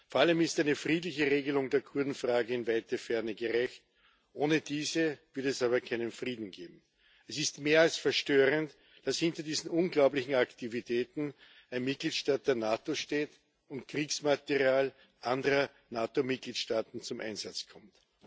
Vor allem ist eine friedliche Regelung der Kurdenfrage in weite Ferne gerückt ohne diese wird es aber keinen Frieden geben. Es ist mehr als verstörend, dass hinter diesen unglaublichen Aktivitäten ein Mitgliedstaat der NATO steht und Kriegsmaterial anderer NATO Mitgliedstaaten zum Einsatz kommt.